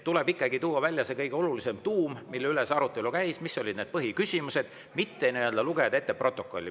Tuleb ikkagi tuua välja kõige olulisem, see tuum, mille üle arutelu käis, mis olid põhiküsimused, mitte lugeda ette protokolli.